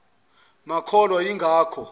babenga makholwa ingakho